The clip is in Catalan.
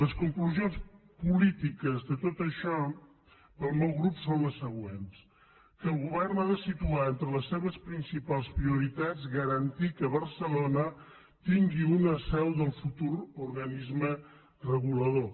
les conclusions polítiques de tot això per al meu grup són les següents que el govern ha de situar entre les seves principals prioritats el fet de garantir que barcelona tingui una seu del futur organisme regulador